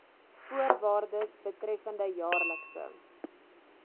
voorwaardes betreffende jaarlikse